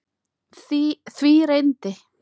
Því reyndi